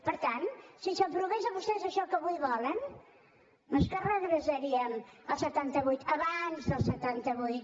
per tant si s’aprovés això que avui volen no és que regressaríem al setanta vuit a abans del setanta vuit